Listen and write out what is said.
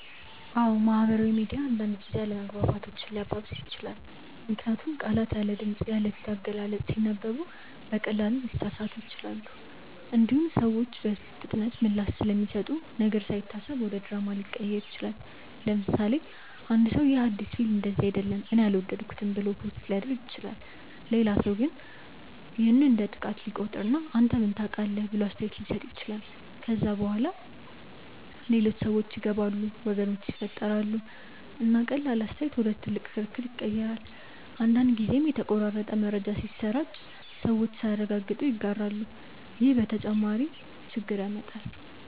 አዎን፣ ማህበራዊ ሚዲያ አንዳንድ ጊዜ አለመግባባቶችን ሊያባብስ ይችላል። ምክንያቱም ቃላት ያለ ድምፅ፣ ያለ ፊት አገላለጽ ሲነበቡ በቀላሉ ሊሳሳቡ ይችላሉ። እንዲሁም ሰዎች በፍጥነት ምላሽ ስለሚሰጡ ነገር ሳይታሰብ ወደ ድራማ ሊቀየር ይችላል። ለምሳሌ፣ አንድ ሰው “ይህ አዲስ ፊልም እንደዚህ አይደለም እኔ አልወደድኩትም” ብሎ ፖስት ሊያደርግ ይችላል። ሌላ ሰው ግን ይህን እንደ ጥቃት ሊቆጥር እና “አንተ ምን ታውቃለህ?” ብሎ አስተያየት ሊሰጥ ይችላል። ከዚያ በኋላ ሌሎች ሰዎች ይገባሉ፣ ወገኖች ይፈጠራሉ፣ እና ቀላል አስተያየት ወደ ትልቅ ክርክር ይቀየራል። አንዳንድ ጊዜም የተቆራረጠ መረጃ ሲሰራጭ ሰዎች ሳያረጋግጡ ይጋራሉ፣ ይህም ተጨማሪ ግጭት ያመጣል።